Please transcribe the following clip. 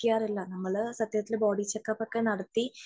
ചെയ്യാറില്ല നമ്മള് സത്യത്തിൽ ബോഡി ചെക്കപ്പ് ഒക്കെ നടത്തി